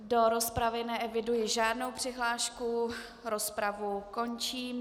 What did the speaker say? Do rozpravy neeviduji žádnou přihlášku, rozpravu končím.